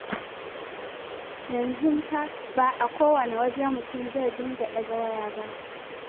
Yanzu fa ba a kowane waje mutum zai dinga ɗaga waya ba.